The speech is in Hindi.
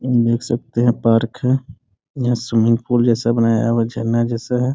हम देख सकते हैं पार्क है यहाँ स्विमिंग पूल जैसे बनाया हुआ झरना जैसा है।